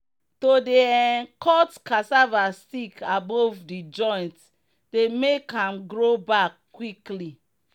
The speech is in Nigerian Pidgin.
to dey um cut cassava stick above the joint dey make am grow back quick.